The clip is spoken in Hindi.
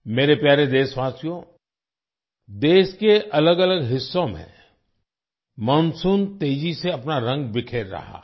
मेरे प्यारे देशवासियो देश के अलग अलग हिस्सों में मॉनसून तेजी से अपना रंग बिखेर रहा है